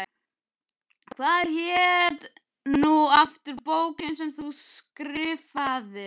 Hvað hét nú aftur bókin sem þú skrifaðir?